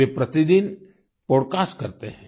वे प्रतिदिन podcast podcast करते हैं